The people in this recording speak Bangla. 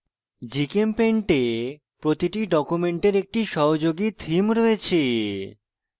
gchempaint এ প্রতিটি document একটি সহযোগী theme রয়েছে